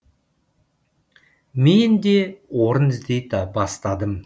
мен де орын іздей бастадым